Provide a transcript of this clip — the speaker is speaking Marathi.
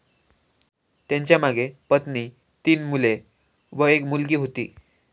त्यांच्यामागे पत्नी, तीन मुले व एक मुलगी होती.